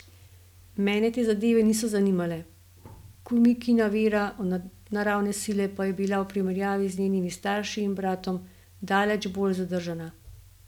Mene te zadeve niso zanimale, Kumikina vera v nadnaravne sile pa je bila v primerjavi z njenimi starši in bratom daleč bolj zadržana.